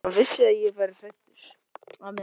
Hann vissi að ég var hræddur.